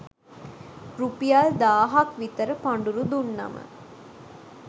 රුපියල් දාහක් විතර පඬුරු දුන්නම